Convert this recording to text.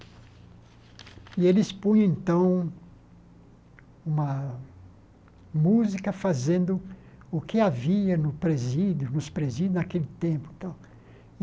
E eles punham, então, uma música fazendo o que havia no presídio nos presídios naquele tempo tal.